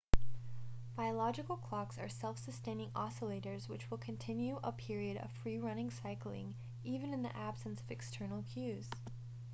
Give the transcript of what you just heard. biological clocks are self sustaining oscillators which will continue a period of free-running cycling even in the absence of external cues